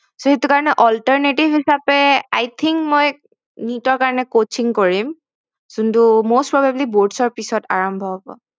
So সেইটো কাৰনে alternative হিচাপে i think মই নিজৰ কাৰনে coaching কৰিম যোনটো most probably boards ৰ পিছত আৰম্ভ হব